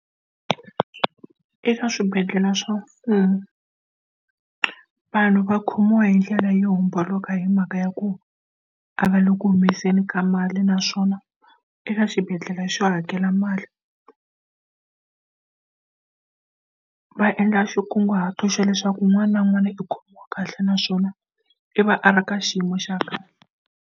Eka swibedhlele swa mfumo, vanhu va khomiwa hi ndlela yo homboloka hi mhaka ya ku a va le ku humeseni ka mali naswona e eka xibedhlele xo hakela mali va endla xikunguhato xa leswaku un'wana na un'wana i ku kahle naswona i va a ri ka xiyimo xa .